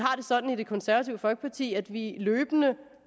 det sådan i det konservative folkeparti at vi løbende